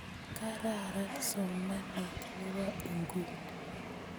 Kararan somanet nebo nguni